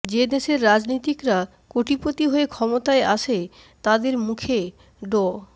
যে দেশের রাজনীতিকরা কোটিপতি হয়ে ক্ষমতায় আসে তাদের মুখে ড